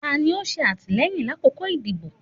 Tani o ṣe atilẹyin lakoko idibo?